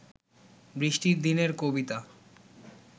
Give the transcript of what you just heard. বৃষ্টির দিনের কবিতা